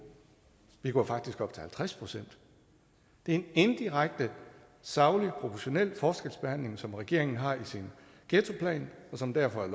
vi går faktisk op til halvtreds procent det er en indirekte saglig og proportional forskelsbehandling som regeringen har i sin ghettoplan og som derfor er